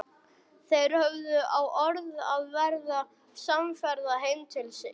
Þeir höfðu á orði að verða samferða heim til Íslands.